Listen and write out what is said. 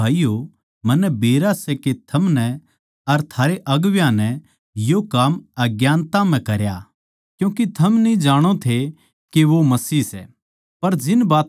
इब हे भाईयो मन्नै बेरा सै के थमनै अर थारे अगुवां नै यो काम अज्ञानता म्ह करया क्यूँके थम न्ही जाणो थे के वो मसीह सै